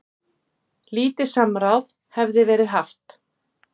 Lítið samráð hefði verið haft.